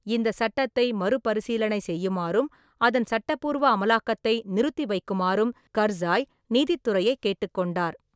இந்தச் சட்டத்தை மறுபரிசீலனை செய்யுமாறும், அதன் சட்டப்பூர்வ அமலாக்கத்தை நிறுத்திவைக்குமாறும் கர்சாய் நீதித்துறையை கேட்டுக் கொண்டார்.